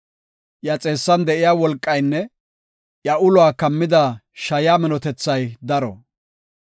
Iya xeessan de7iya wolqaynne iya uluwa kammida shayaa minotethay daro.